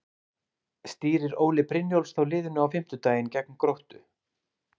Stýrir Óli Brynjólfs þá liðinu á fimmtudaginn gegn Gróttu?